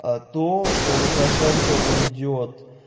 а то что лукашенко уйдёт